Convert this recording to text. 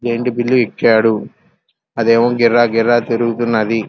Giant wheel ఎక్కాడు అదేమో గిర్రా గిర్రా తిరుగుతున్నది.